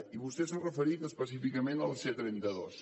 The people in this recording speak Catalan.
i vostè s’ha referit específicament a la c trenta dos